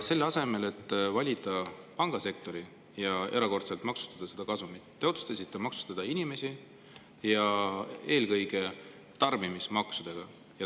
Selle asemel, et valida välja pangasektor ja erakordselt maksustada nende kasumit, te otsustasite maksustada inimesi, ja eelkõige tarbimismaksudega.